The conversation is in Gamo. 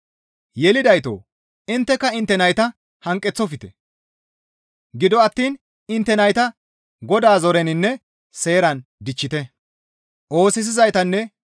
Yelidaytoo! Intteka intte nayta hanqeththofte; gido attiin intte nayta Godaa zoreninne seeran dichchite.